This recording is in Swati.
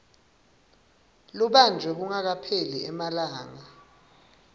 lubanjwe kungakapheli emalanga